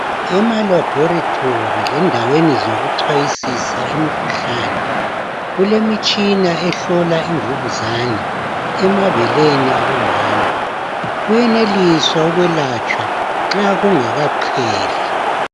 ema laboratory lendaweni zokucwayisisa imikhuhlane kulemitshina ehlola imvukuzane emabeleni abo mama kuyenelisa ukuyelatshwa nxa kungakaqheli